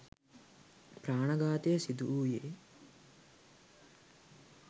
ප්‍රාණඝාතය සිදුවූයේ